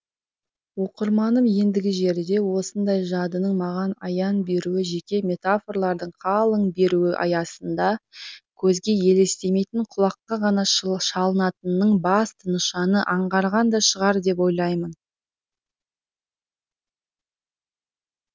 оқырманым ендігі жерде осындай жадының маған аян беруі жеке метафорлардың қылаң беруі аясында көзге елестемейтін құлаққа ғана шалынатынының басты нышанын аңғарған да шығар деп ойлаймын